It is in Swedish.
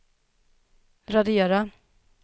radera